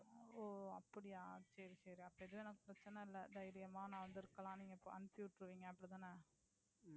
ஓ அப்படியா சரி சரி அப்ப எதுனா பிரச்சனையில்லை தைரியமா நான் வந்து இருக்கலாம் நீங்க அனுப்பிச்சு விட்டுருவீங்க அப்படித்தானே.